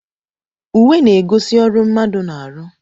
Uwe na-egosi ọrụ mmadụ na-aru